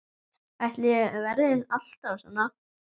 Ætli ég verði alltaf svona?